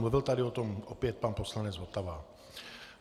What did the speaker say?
Mluvil tady o tom opět pan poslanec Votava.